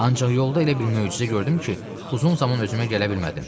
Ancaq yolda elə bir möcüzə gördüm ki, uzun zaman özümə gələ bilmədim.